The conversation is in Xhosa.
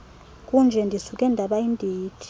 kunje ndisuke ndabayindindi